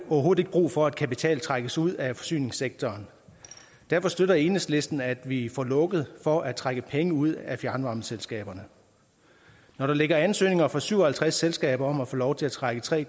overhovedet ikke brug for at kapital trækkes ud af forsyningssektoren derfor støtter enhedslisten at vi får lukket for at trække penge ud af fjernvarmeselskaberne når der ligger ansøgninger fra syv og halvtreds selskaber om at få lov til at trække tre